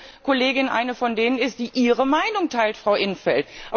Weil diese Kollegin eine von denen ist, die Ihre Meinung teilt, Frau in 't Veld.